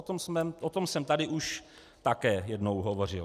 O tom jsem tady už také jednou hovořil.